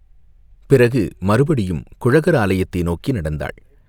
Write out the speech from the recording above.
பிறகு மறுபடியும் குழகர் ஆலயத்தை நோக்கி நடந்தாள்.